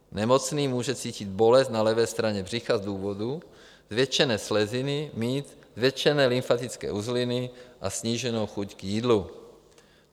Nemocný může cítit bolest na levé straně břicha z důvodu zvětšené sleziny, mít zvětšené lymfatické uzliny a sníženou chuť k jídlu.